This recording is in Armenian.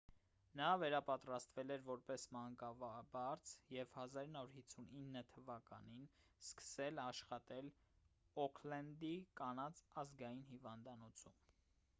նա վերապատրաստվել էր որպես մանկաբարձ և 1959 թվականին սկսել աշխատել օքլենդի կանանց ազգային հիվանդանոցում